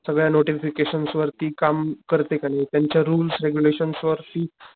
सगळ्या नोटिफिकेशन्स वर काम करते कि नाही त्यांच्या रुल्स रेगुलेशन वर ती,